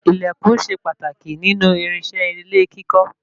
Ilẹkùn ṣe pàtàkì nínú irinṣẹ́ ilé kíkọ́